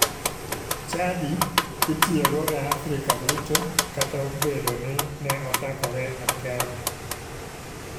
Chadi itiyogo e afrika duto kata obedo ni ne ochakore e kenya.